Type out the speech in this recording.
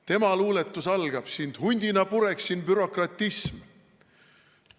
Tema luuletus algab: sind hundina pureksin, bürokratism.